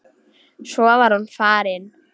Svo var hún farin.